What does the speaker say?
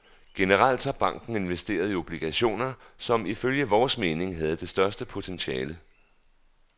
Generelt har banken investeret i obligationer, som ifølge vores mening havde det største potentiale.